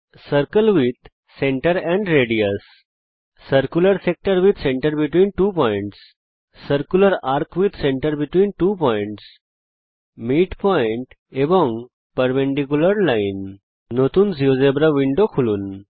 circle with centre and radius circular sector with centre between two points circular arc with centre between two points midpoint এবং perpendicular line নতুন GeoGebra window খুলুন